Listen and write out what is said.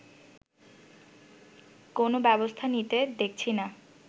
কোন ব্যবস্থা নিতে দেখছিনা